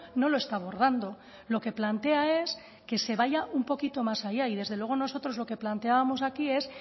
no lo está abordando lo que plantea es que se vaya un poquito más allá y desde luego nosotros lo que planteábamos aquí es